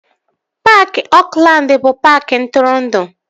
Paaki Oakland bụ paaki ntụrụndụ